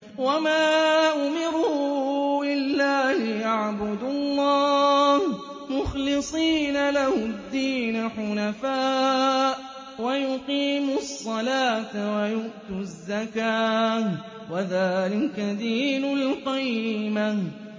وَمَا أُمِرُوا إِلَّا لِيَعْبُدُوا اللَّهَ مُخْلِصِينَ لَهُ الدِّينَ حُنَفَاءَ وَيُقِيمُوا الصَّلَاةَ وَيُؤْتُوا الزَّكَاةَ ۚ وَذَٰلِكَ دِينُ الْقَيِّمَةِ